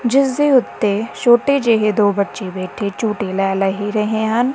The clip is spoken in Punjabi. ਜਿਸ ਦੇ ਉੱਤੇ ਛੋਟੇ ਜਿਹੇ ਦੋ ਬੱਚੇ ਬੈਠੇ ਝੂਟੇ ਲੈ ਲਏ ਰਹੇ ਹਨ।